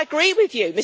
I agree with you.